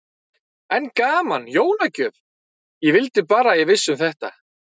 Enn gaman, jólagjöf, ég vildi bara að ég vissi um þetta.